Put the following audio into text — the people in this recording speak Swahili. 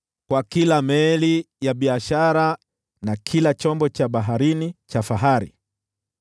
kwa kila meli ya biashara, na kila chombo cha baharini cha fahari.